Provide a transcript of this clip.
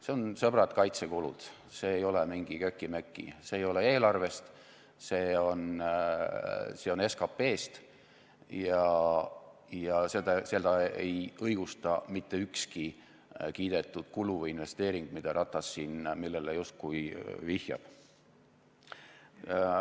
Need on, sõbrad, kaitsekulud, see ei ole mingi köki-möki, see ei ole eelarvest, see on SKT-st ja seda ei õigusta mitte ükski kiidetud kulu või investeering, millele Ratas siin justkui vihjab.